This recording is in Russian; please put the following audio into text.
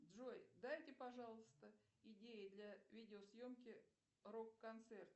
джой дайте пожалуйста идеи для видеосъемки рок концерта